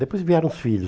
Depois vieram os filhos.